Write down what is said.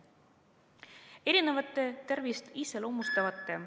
Erinevate tervist iseloomustavate ...